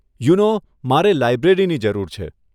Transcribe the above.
યું નો મારે લાઇબ્રેરીની જરૂર છે.